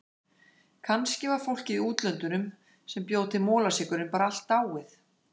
Kannski var fólkið í útlöndunum sem bjó til molasykurinn bara allt dáið.